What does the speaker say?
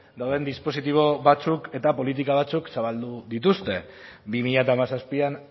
dauden dispositibo batzuk eta politika batzuk zabaldu dituzte bi mila hamazazpian